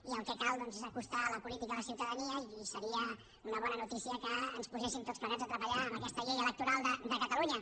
i el que cal doncs és acostar la política a la ciutadania i seria una bona notícia que ens poséssim tots plegats a treballar en aquesta llei electoral de cata lunya